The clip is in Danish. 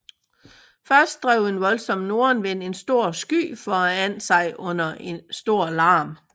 Først drev en voldsom nordenvind en stor sky foran sig under stor larm